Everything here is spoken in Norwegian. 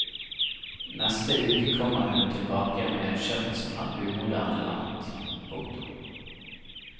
Neste uke kommer hun tilbake med et skjørt som er umoderne langt. punktum